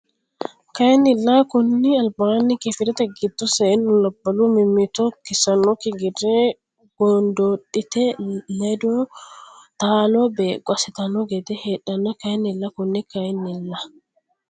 Kayinnilla konni albaanni Kifilete giddo seennu labbalu mimmito kissannokki gede gondoodhite ledo taalo beeqqo assitanno gede heedhanno Kayinnilla konni Kayinnilla.